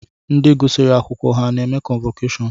Ndi gụsiri akwụkwọ ha na-eme kọnvọkashọnụ?